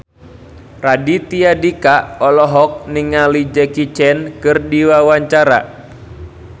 Raditya Dika olohok ningali Jackie Chan keur diwawancara